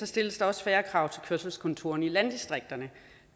stilles der også færre krav til kørselskontorerne i landdistrikterne